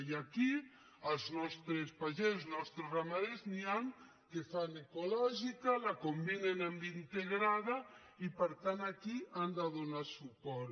i aquí dels nostres pagesos dels nostres ramaders n’hi han que fan ecològica la combinen amb integrada i per tant aquí hi han de donar suport